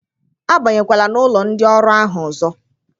Abanyekwala na ụlọ ndị ọrụ ahụ ọzọ!